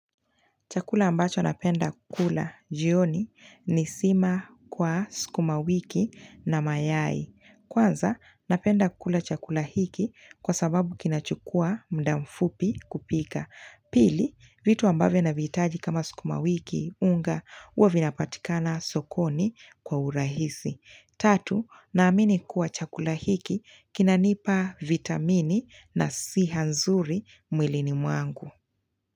Chakula ambacho napenda kula jioni ni sima kwa sukuma wiki na mayai. Kwanza, napenda kula chakula hiki kwa sababu kinachukua muda mfupi kupika. Pili, vitu ambavyo navihitaji kama sikuma wiki, unga, huwa vinapatikana sokoni kwa urahisi. Tatu, naamini kuwa chakula hiki kinanipa vitamini na siha nzuri mwilini mwangu.